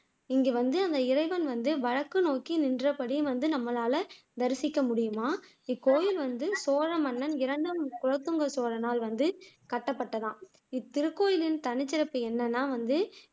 இங்க வந்து அந்த இறைவன் வந்து வடக்கு நோக்கி நின்றபடி வந்து நம்மளால தரிசிக்க முடியுமாம் இக்கோவில் வந்து சோழ மன்னன் இரண்டாம் குலோத்துங்க சோழனால் வந்து கட்டப்பட்டதாம் இத்திருக்கோவிலின் தனிச்சிறப்பு என்னன்னா வந்து